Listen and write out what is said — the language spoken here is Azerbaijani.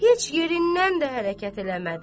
Heç yerindən də hərəkət eləmədi.